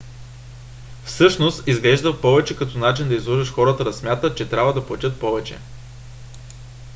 всъщност изглежда повече като начин да излъжеш хората да смятат че трябва да платят повече